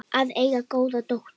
Að eiga góða dóttur.